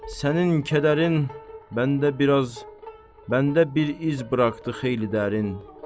Sənin kədərin məndə biraz məndə bir iz buraxdı xeyli dərin.